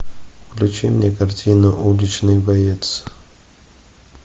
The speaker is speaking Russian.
включи мне картину уличный боец